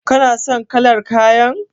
Kana son kalar kayan?